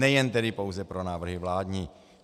Nejen tedy pouze pro návrhy vládní.